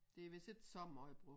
Det vist ikke så meget brugt